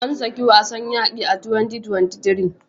Ansaki wasn yaqi a 2023